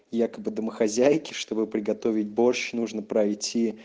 якобы домохозяйки чтобы приготовить борщ нужно пройти